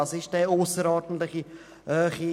Was ist eine ausserordentliche Höhe?